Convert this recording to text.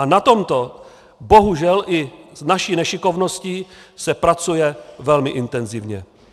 A na tomto bohužel i s naší nešikovností se pracuje velmi intenzivně.